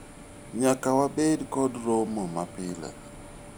nyaka wabed kod romo ma pile